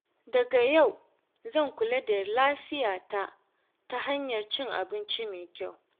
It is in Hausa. Daga yau zan kula da lafiyata ta hanyar cin abinci mai kyau.